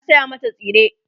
na saya mata tsire